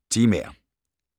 Temaer